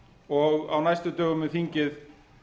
og á næstu dögum mun þingið